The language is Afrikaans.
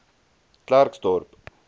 klerksdorp